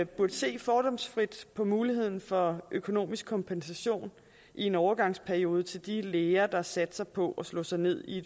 burde se fordomsfrit på muligheden for økonomisk kompensation i en overgangsperiode til de læger der satser på at slå sig ned i